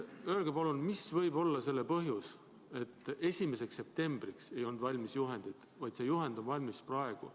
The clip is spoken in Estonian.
Öelge palun, mis võib olla selle põhjus, et 1. septembriks ei olnud juhend valmis, vaid see juhend on valmis praegu.